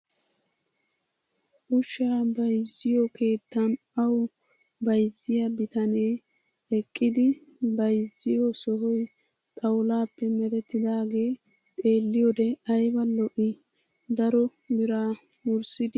Ushsha bayizziyoo keettan awu bayizziyaa bitaanee eqqidi biyzziyoo sohoyi xawulaappe merettidaagee xeelliyoode ayiba lo''ii. Daroo biraa wurssidi daroo wolqqaa wurssidi merettoogee erettes.